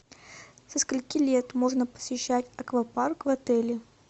со скольки лет можно посещать аквапарк в отеле